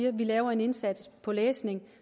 at lave en indsats på læsning